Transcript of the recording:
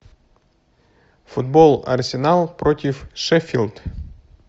футбол арсенал против шеффилд